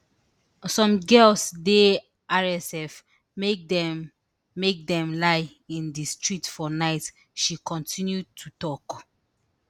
some girls di rsf make dem make dem lie in di streets for night she kontinu to tok